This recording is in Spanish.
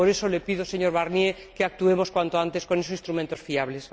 Por eso le pido, señor Barnier, que actuemos cuanto antes con esos instrumentos fiables.